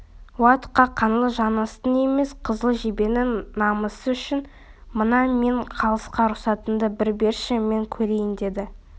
уа тұқа қаңлы жаныстың емес қызыл жебенің намысы үшін мына мен қалысқа рұқсатыңды бір берші мен көрейін деді